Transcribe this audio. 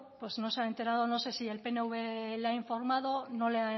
pues no se ha enterado no sé si el pnv le ha informado no le